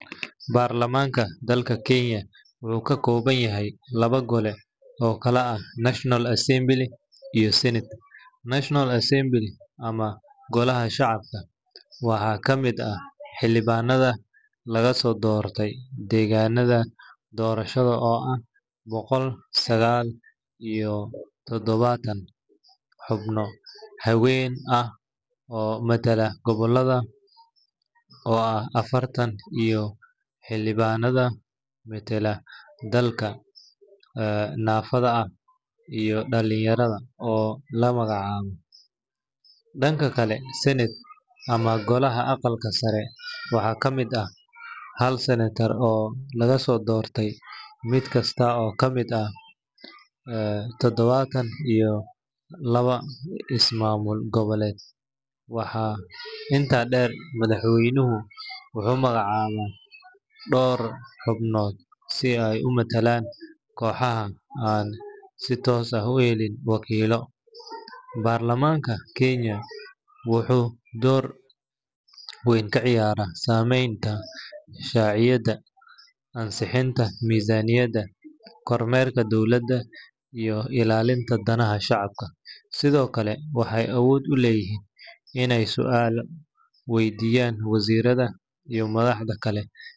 Baarlamanka dalka kenya, wuxu kakoobanyahay labo golee oo kala ah national assembly iuo Senate national assembly ama golaha shacabka waxa kamid ah hilibanada lagasodortay deganaka dorashada oo ah bogol saqal iyo tadawatan hubno, habeen ah oo matalla gabalada oo ah afartan iyo tadawo, hilibanad matalla dalka ee nafada ah iyo dalinyarada oo lagumagac cawoo, danka kale senate ama golaha agaalka saree waxa kamid ah hal sanatar oo lagasodortay midkasta oo kamid ah ee tadawatan iyo lawa ismamul gawoled, waxa inta deer madahweynu wuxu magac cawaa door hubnod si ay umatalan kohaha aad si tos ah uhelin wakilo, barlamanka kenya wuxu door weyn kaciyara sameyta shaciyada, ansahinta mizaniyada, kormelka dowlada iyo ilalinta danaha shacabka, Sidhokale waxay awood uleyixin inay sualo weydiyan wazirada iyo madaxda kale.